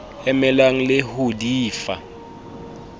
emelang le ho di fa